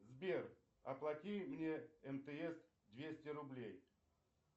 сбер оплати мне мтс двести рублей